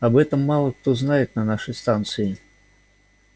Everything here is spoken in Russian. об этом мало кто знает на нашей станции